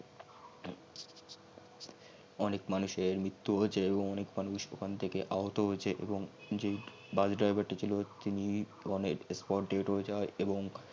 অনেক মানুষের ম্রিত্তু হয়েছে এবং অনেক মানুষ ওখান থেকে আহত হয়েছে এবং যেই bus driver টি ছিল তিনি মানে spot dead হয়ে যাই এবং